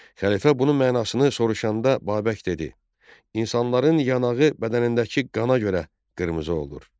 Xəlifə bunun mənasını soruşanda Babək dedi: "İnsanların yanağı bədənindəki qana görə qırmızı olur.